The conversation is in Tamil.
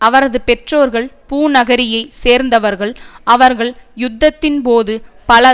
அவரது பெற்றோர்கள் பூநகரியைச் சேர்ந்தவர்கள் அவர்கள் யுத்தத்தின் போது பல